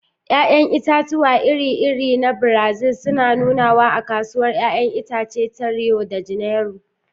Ya'yan itatuwa iri-iri na Brazil suna nunawa a Kasuwar 'ya'yan itace ta Rio de Janeiro.